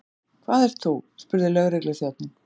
En þú, hvað ert þú? spurði lögregluþjónninn.